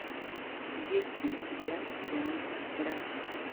есть ли у тебя сериал траст